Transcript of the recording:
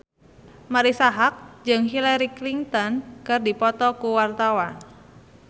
Marisa Haque jeung Hillary Clinton keur dipoto ku wartawan